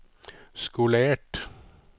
skolert